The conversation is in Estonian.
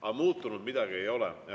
Aga muutunud midagi ei ole.